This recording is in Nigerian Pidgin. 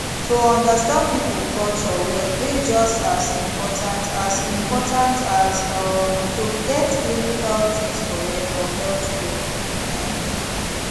to understand people culture well dey just as important as important as um to get clinical things correct for healthcare um